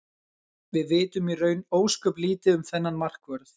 Við vitum í raun ósköp lítið um þennan markvörð.